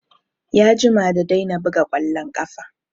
Ya jima da daina buga ƙwallon ƙafa